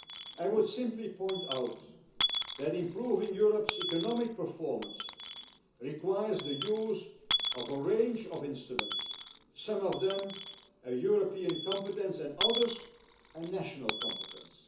I would simply point out that improving Europe's economic performance requires the use of a range of instruments, some of them a European competence and others a national competence.